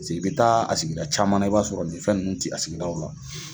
Paseke i bɛ taa a sigida caman i b'a sɔrɔ nin fɛn ninnu tɛ a sigiadaw la